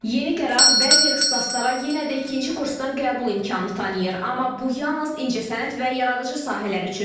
Yeni qərar bəzi ixtisaslara yenə də ikinci kursdan qəbul imkanı tanıyır, amma bu yalnız incəsənət və yaradıcı sahələr üçündür.